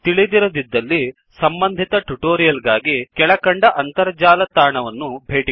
ತಿಳಿದಿರದಿದ್ದಲ್ಲಿ ಸಂಬಂಧಿತ ಟ್ಯುಟೋರಿಯಲ್ ಗಾಗಿ ಕೆಳಕಂಡ ಅಂತರ್ಜಾಲ ತಾಣವನ್ನು ಭೇಟಿಕೊಡಿ